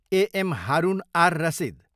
A M Harun ar Rashid